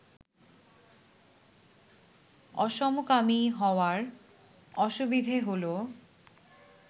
অসমকামী হওয়ার অসুবিধে হল